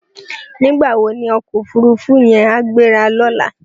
Nigbá wó ni òkò ófúrúfú yèn á gbérá lòlá?